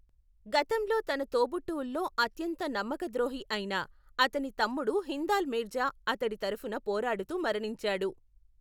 గతంలో తన తోబుట్టువుల్లో అత్యంత నమ్మకద్రోహి అయిన అతని తమ్ముడు హిందాల్ మీర్జా అతడి తరఫున పోరాడుతూ మరణించాడు.